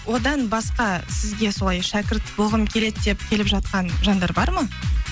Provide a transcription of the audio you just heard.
одан басқа сізге солай шәкірт болғым келеді деп келіп жатқан жандар бар ма